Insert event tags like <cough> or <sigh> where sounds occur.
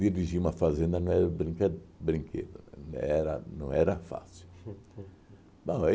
Dirigir uma fazenda não é brinquedo brinquedo, era não era fácil. <laughs> Bom aí